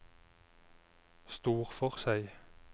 Storforshei